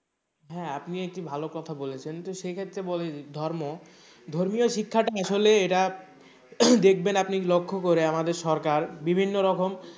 হ্যাঁ আপনিও একটি ভালো কথা বলেছেন তো সেক্ষেত্রে বলি ধর্ম ধর্মীয় শিক্ষাটা আসলে এরা দেখবেন আপনি লক্ষ্য করে আমাদের সরকার বিভিন্ন রকম,